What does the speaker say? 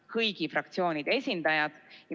Kõigi fraktsioonide esindajad.